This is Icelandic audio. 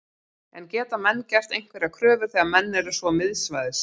En geta menn gert einhverjar kröfur þegar menn eru svo miðsvæðis?